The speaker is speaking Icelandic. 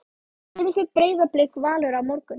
Hvernig fer Breiðablik-Valur á morgun?